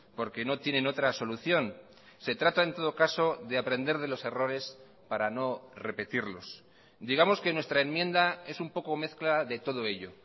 porque no tienen otra solución se trata en todo caso de aprender de los errores para no repetirlos digamos que en nuestra enmienda es un poco mezcla de todo ello